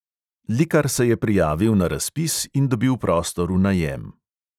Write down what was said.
Likar se je prijavil na razpis in dobil prostor v najem.